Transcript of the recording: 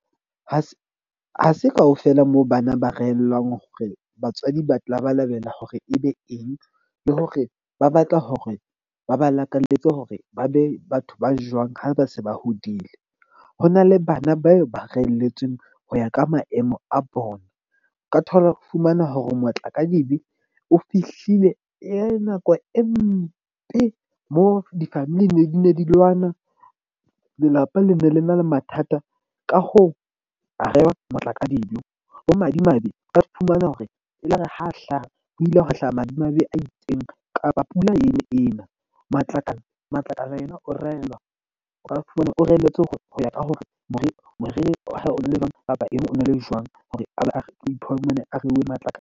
Ha se kaofela moo bana ba rehellwa hore batswadi ba labalabela hore ebe eng le hore ba batla hore ba ba lakalletse hore ba be batho ba jwang ha ba se ba hodile. Ho na le bana bao ba reelletsweng ho ya ka maemo a bona. O ka thola o fumana hore matlakadibe o fihlile e nako e mpe mo difamili ne di ne di lwana. Lelapa le ne le na le mathata, ka hoo a rewa Matlakadibe. Madimabe o ka fumana hore e ilare ha hlaha, ho ile hwa hlaha madimabe a itseng kapa pula ene e ena. Matlakala, Matlakala ena o raelwa, o ka fumana o reheletswe ho ya ka hore moriri moriri wa hae o na le jwang a reuwe Matlakala.